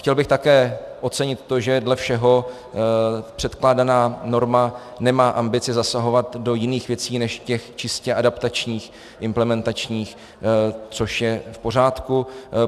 Chtěl bych také ocenit to, že dle všeho předkládaná norma nemá ambici zasahovat do jiných věcí než těch čistě adaptačních, implementačních, což je v pořádku.